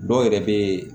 Dɔw yɛrɛ be